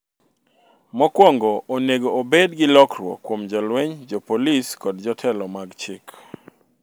""...mokwongo onego obed gi lokruok kuom jolweny, jopolisi kod jotelo mag chik."